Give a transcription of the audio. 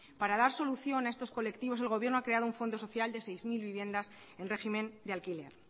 para dar solución a estos colectivos el gobierno ha creado un fondo social de seis mil vivienda en régimen de alquiler